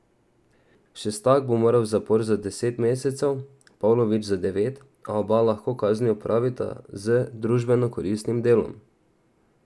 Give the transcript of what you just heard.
Šestak bo moral v zapor za deset mesecev, Pavlović za devet, a oba lahko kazni opravita z družbeno koristnim delom.